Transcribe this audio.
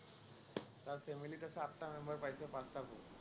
তাৰ family ত আছে আঠটা member, পাইছে পাঁটা ভোট।